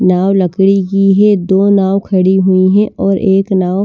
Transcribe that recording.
नाव लकड़ी की है दो नाव खड़ी हुई हैं और एक नाव--